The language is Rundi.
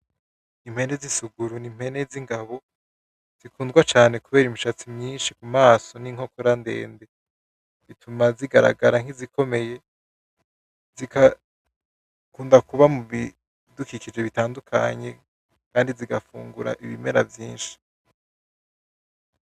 Impene z'isuguru ni impene z'ingabo zikundwa cane kubera imishatsi myinshi mu maso n'inkokora ndende, zituma zigaragara nkizikomeye zikaba zikunda kuba mubidukikije bitandukanye kandi zigafungura ibimera vyinshi.